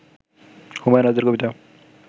হুমায়ুন আজাদের কবিতা